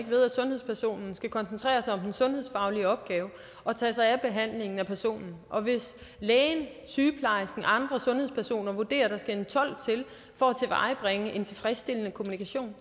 ved at sundhedspersonen skal koncentrere sig om den sundhedsfaglige opgave og tage sig af behandlingen af personen og hvis lægen sygeplejersken andre sundhedspersoner vurderer at der skal en tolk til for at tilvejebringe en tilfredsstillende kommunikation